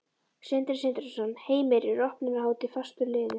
Sindri Sindrason: Heimir, er opnunarhátíð fastur liður?